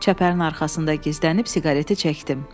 Çəpərin arxasında gizlənib siqareti çəkdim.